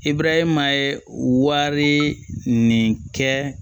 E burama ye wari nin kɛ